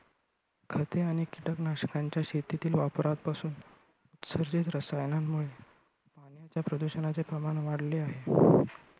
खते आणि कीटकनाशकांच्या शेतीतील वापरापासून सेंद्रिय रसायनांमुळे पाण्याच्या प्रदूषणाचे प्रमाण वाढले आहे .